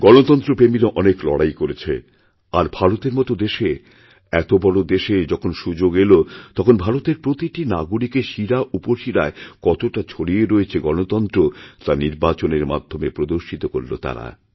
গণতন্ত্রপ্রেমীরা অনেক লড়াই করেছে আর ভারতের মত দেশে এত বড়দেশে যখন সুযোগ এল তখন ভারতের প্রতিটি নাগরিকের শিরাউপশিরায় কতটা ছড়িয়ে রয়েছেগণতন্ত্র তা নির্বাচনের মাধ্যমে প্রদর্শিত করল তারা